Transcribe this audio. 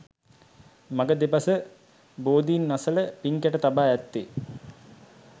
මඟ දෙබස බෝධීන් අසල පින්කැට තබා ඇත්තේ